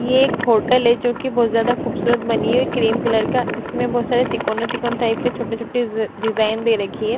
ये एक होटल है जो की बहुत ज्यादा खूबसूरत बनी हुई है क्रीम कलर का इसमें बहुत सारे तिकोने तिकोना टाइप के छोटे छोटे डिजाइन दे रखी हैं।